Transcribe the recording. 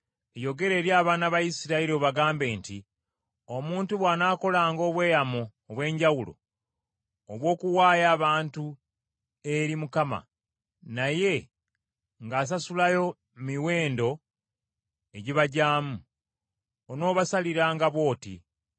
“Yogera eri abaana ba Isirayiri obagambe nti: Omuntu bw’anaakolanga obweyamo obw’enjawulo obw’okuwaayo abantu eri Mukama naye ng’asasulayo miwendo egibagyamu, onoobasaliranga bw’oti: